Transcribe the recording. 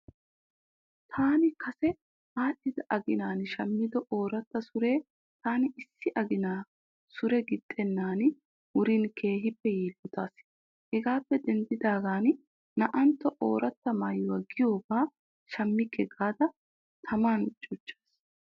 Taani kase aadhdhida aginan shammido ooratta suree taani issi againaa suure gixxennan wuriin keehippe yiillotaas. Hegaappe deniddaagan naa'antto ooratta maayo giyobaa shammikke gaada taman cuchchaas.